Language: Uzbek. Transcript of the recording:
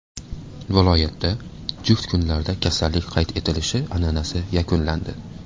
Viloyatda juft kunlarda kasallik qayd etilishi an’anasi yakunlandi.